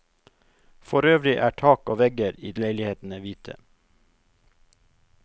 Forøvrig er tak og vegger i leilighetene hvite.